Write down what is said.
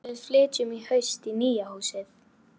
Já, en við flytjum í haust í nýja húsið.